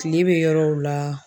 Kile be yɔrɔw la